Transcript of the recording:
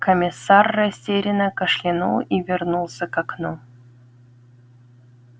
комиссар растерянно кашлянул и вернулся к окну